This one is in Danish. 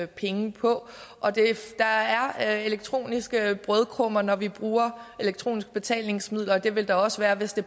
penge på der er elektroniske brødkrummer når vi bruger elektroniske betalingsmidler og det vil der også være hvis det